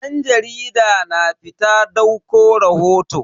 Dan jarida na fita dauko rahoto.